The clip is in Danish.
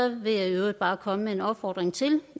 vil jeg i øvrigt bare komme med en opfordring til